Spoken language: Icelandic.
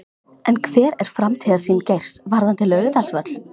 En hver er framtíðarsýn Geirs varðandi Laugardalsvöll?